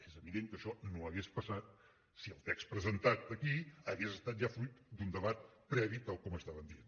és evident que això no hauria passat si el text presentat aquí hagués estat ja fruit d’un debat previ tal com estaven dient